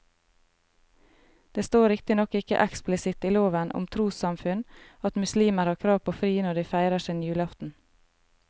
Det står riktignok ikke eksplisitt i loven om trossamfunn at muslimer har krav på fri når de feirer sin julaften.